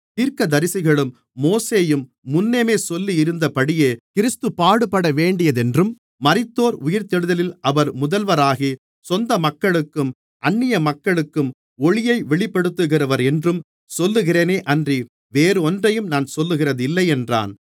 தீர்க்கதரிசிகளும் மோசேயும் முன்னமே சொல்லியிருந்தபடியே கிறிஸ்து பாடுபடவேண்டியதென்றும் மரித்தோர் உயிர்த்தெழுதலில் அவர் முதல்வராகி சொந்த மக்களுக்கும் அந்நிய மக்களுக்கும் ஒளியை வெளிப்படுத்துகிறவரென்றும் சொல்லுகிறேனேயன்றி வேறொன்றையும் நான் சொல்லுகிறதில்லை என்றான்